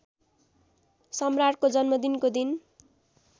सम्राटको जन्मदिनको दिन